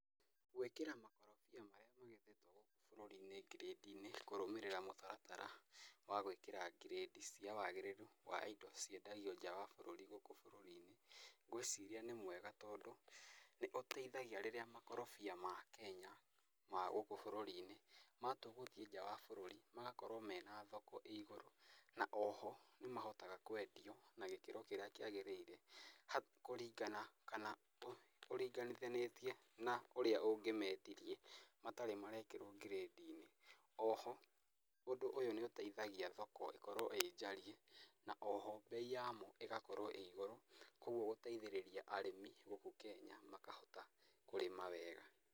Gwĩkĩra makorobia marĩa magethetwo gũkũ bũrũri-inĩ ngirĩndĩ-inĩ, kũrũmĩrĩra mũtaratara wa gwĩkĩra ngirĩndi cia wagĩrĩru wa indo ciendagio nja wa bũrũri gũkũ bũrũri-inĩ, ngwĩciria nĩ mwega, tondũ nĩ ũteithagia rĩrĩa makorobia ma Kenya ma gũkũ bũrũri-inĩ matua gũthiĩ nja wa bũrũri magakorwo mena thoko ĩ igũrũ. Na oho nĩ mahotaga kwendio na gĩkĩro kĩrĩa kĩagĩrĩire. Hau kũringana kana ũringanithĩtie na ũrĩa ũngĩmendirie matarĩ marekĩrwo ngirĩndi-inĩ, oho ũndũ nĩ ũteithagia thoko ĩkorwo ĩ njariĩ, na oho mbei yamo ĩgakorwo ĩ igũrũ kogũo gũteithĩrĩria arĩmi gũkũ Kenya makahota kũrĩma wega.